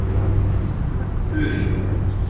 Þurí